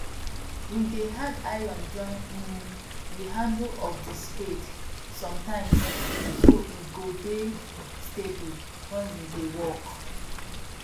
we dey add iron join um the handle of the spade sometimes so e go dey stable wen we dey work